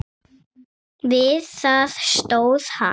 Við það stóð hann.